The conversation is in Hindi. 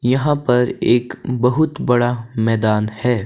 यहां पर एक बहुत बड़ा मैदान है।